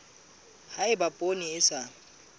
ha eba poone e sa